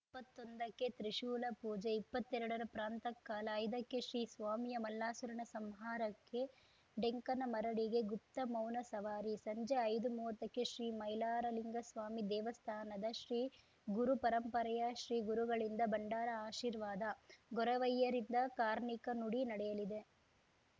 ಇಪ್ಪತ್ತೊಂದಕ್ಕೆ ತ್ರಿಶೂಲ ಪೂಜೆ ಇಪ್ಪತ್ತೆರಡರ ಪ್ರಾಂಥಃಕಾಲ ಐದಕ್ಕೆ ಶ್ರೀ ಸ್ವಾಮಿಯ ಮಲ್ಲಾಸುರನ ಸಂಹಾರಕ್ಕೆ ಡೆಂಕನ ಮರಡಿಗೆ ಗುಪ್ತಮೌನ ಸವಾರಿ ಸಂಜೆ ಐದುಮೂವತ್ತಕ್ಕೆ ಶ್ರೀ ಮೈಲಾರಲಿಂಗ ಸ್ವಾಮಿ ದೇವಸ್ಥಾನದ ಶ್ರೀ ಗುರುಪರಂಪರೆಯ ಶ್ರೀ ಗುರುಗಳಿಂದ ಭಂಡಾರ ಆಶೀರ್ವಾದ ಗೊರವಯ್ಯರಿಂದ ಕಾರ್ಣಿಕ ನುಡಿ ನಡೆಯಲಿದೆ